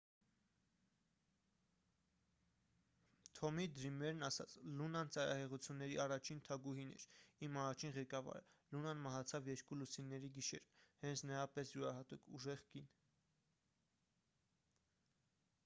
թոմի դրիմերն ասաց լունան ծայրահեղությունների առաջին թագուհին էր իմ առաջին ղեկավարը լունան մահացավ երկու լուսինների գիշերը հենց նրա պես յուրահատուկ ուժեղ կին